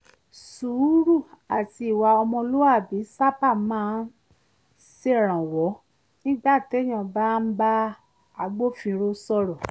sùúrù àti ìwà ọmọlúwàbí sábà máa ń ṣèrànwọ́ nígbà téèyàn bá ń bá agbófinró sọ̀rọ̀